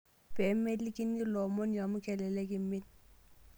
Pee melikini ilo omoni amu kelelek imin.